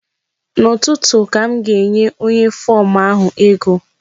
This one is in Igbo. N'ụtụtụ ka m ga-enye onye fom ahụ ego.